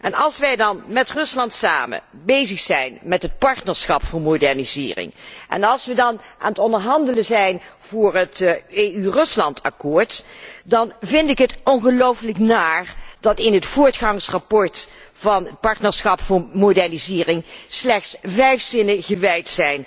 En als wij dan met Rusland samen bezig zijn met het partnerschap voor modernisering, en we aan het onderhandelen zijn over het EU Rusland akkoord, dan vind ik het ongelooflijk naar dat in het voortgangsrapport over het partnerschap voor modernisering slechts vijf zinnen gewijd